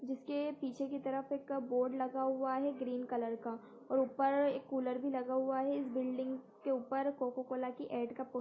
जिसके पीछे की तरफ से एक बोर्ड लगा हुआ है ग्रीन कलर का और ऊपर कूलर लगा हुआ है इस बिल्डिंग के ऊपर कोका कोला की एड का पो --